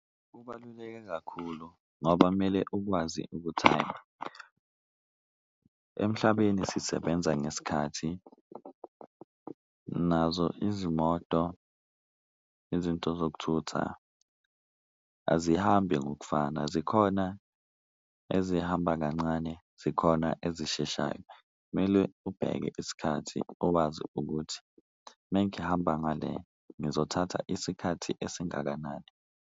Kubaluleke kakhulu ngoba mele ukwazi ukuthi hhayi emhlabeni sisebenza ngesikhathi nazo izimoto, izinto zokuthutha azihambi ngokufana, zikhona ezihamba kancane, zikhona ezisheshayo. Kumele ubheke isikhathi owazi ukuthi uma ngihamba ngale ngizothatha isikhathi esingakanani.